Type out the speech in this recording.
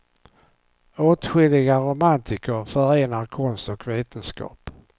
Åtskilliga romantiker förenar konst och vetenskap.